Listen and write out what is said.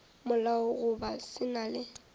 molao goba se na le